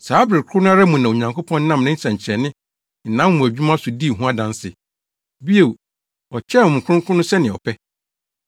Saa bere koro no ara mu na Onyankopɔn nam ne nsɛnkyerɛnne ne nʼanwonwadwuma so dii ho adanse. Bio, ɔkyɛɛ Honhom Kronkron no sɛnea ɔpɛ.